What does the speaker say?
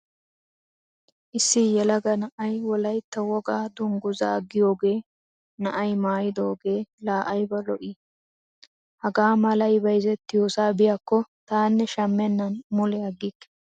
Issi yelaga na'ay wolaytta wogaa dungguzaa giyogee na'ay maayidoogee laa ayba lo'o lo'ii! Haa malay bayzettiyosaa biyakko taanne shammennan mule aggikke!